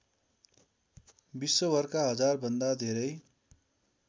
विश्वभरका हजारभन्दा धेरै